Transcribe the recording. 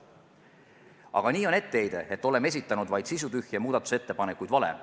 Aga etteheide, et oleme esitanud vaid sisutühje muudatusettepanekuid, on vale.